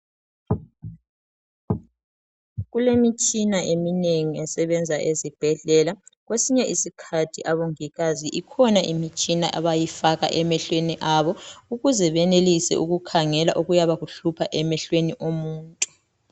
Kulemitshina eminengi esebenza ezibhedlela. Kwesinye isikhathi abongikazi ikhona imitshina abayifaka emehlweni abo ukuze benelise ukukhangela okuyabe kuhlupha emehlweni omuntu .